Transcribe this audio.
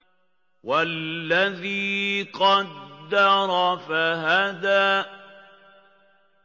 وَالَّذِي قَدَّرَ فَهَدَىٰ